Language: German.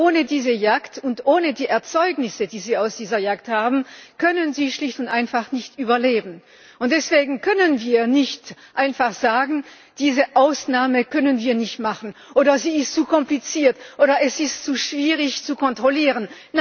Ohne diese Jagd und ohne die Erzeugnisse, die sie aus dieser Jagd haben, können sie schlicht und einfach nicht überleben, und deswegen können wir nicht einfach sagen, diese Ausnahme können wir nicht machen, oder sie ist zu kompliziert, oder es ist zu schwierig zu kontrollieren.